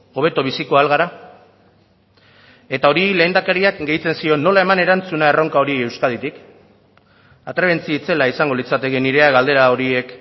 hobeto biziko ahal gara eta hori lehendakariak gehitzen zion nola eman erantzuna erronka horri euskaditik atrebentzi itzela izango litzateke nirea galdera horiek